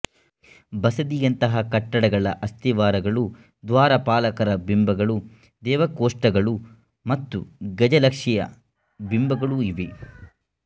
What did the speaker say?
ಬಸದಿಯಂತಹ ಕಟ್ಟಡಗಳ ಅಸ್ತಿವಾರಗಳು ದ್ವಾರಪಾಲಕರ ಬಿಂಬಗಳು ದೇವಕೋಷ್ಟಗಳು ಮತ್ತು ಗಜಲಕ್ಷಿಯ ಬಿಂಬಗಳು ಇವೆ